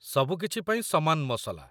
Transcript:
ସବୁକିଛି ପାଇଁ ସମାନ ମସଲା।